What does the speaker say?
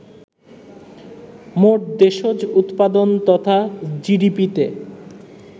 মোট দেশজ উৎপাদন তথা জিডিপিতে